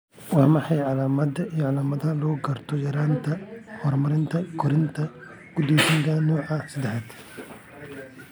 Waa maxay calaamadaha iyo calaamadaha lagu garto yaraanta hormoonka koritaanka go'doonsan nooca seddaxad?